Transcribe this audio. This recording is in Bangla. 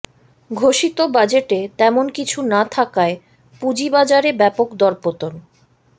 ঘোষিত বাজেটে তেমন কিছু না থাকায় পুঁজিবাজারে ব্যাপক দরপতন